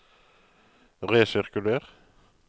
resirkuler